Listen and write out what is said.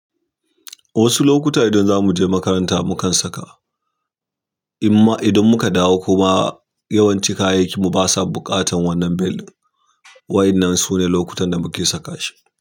Wasu lokuta idan za mu je makaranta, mu kan saka. Amma idan muka ɗawo kuma yawanci kayayyakin mu ba sa buƙatar wannan bel din. Waɗannan su ne lokutan da muke saka shi.